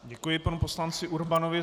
Děkuji panu poslanci Urbanovi.